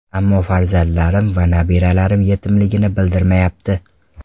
Ammo farzandlarim va nabiralarim yetimligimni bildirmayapti.